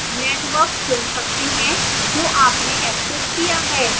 network चुन सकते हैं जो आपने access किया है